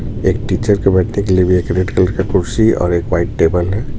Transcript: एक टीचर के बर्थडे के लिए भी एक रेड कलर का कुर्सी और एक व्हाइट टेबल हैं.